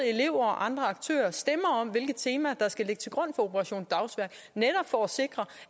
elever og andre aktører stemmer om hvilke temaer der skal ligge til grund for operation dagsværk netop for at sikre